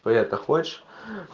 ты это хочешь